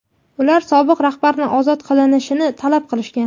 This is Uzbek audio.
Ular sobiq rahbarni ozod qilinishini talab qilishgan.